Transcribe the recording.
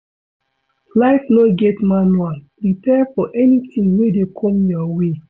life no get manual, prepare for anything wey dey come your way